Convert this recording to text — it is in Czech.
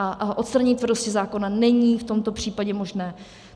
A odstranění tvrdosti zákona není v tomto případě možné.